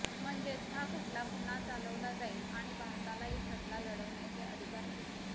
म्हणजेच हा खटला पुन्हा चालवला जाईल आणि भारतालाही खटला लढवण्याचे अधिकार मिळतील